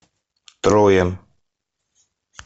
троя